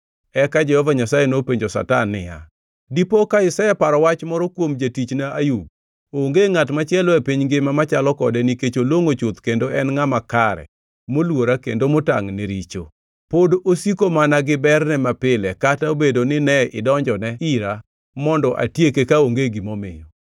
Eka Jehova Nyasaye nopenjo Satan niya, “Dipo ka iseparo wach moro kuom jatichna Ayub? Onge ngʼat machielo e piny ngima machalo kode nikech olongʼo chuth kendo en ngʼama kare moluora kendo motangʼ ne richo.” Pod osiko mana gi berne mapile, kata obedo ni ne idonjone ira mondo atieke kaonge gimomiyo.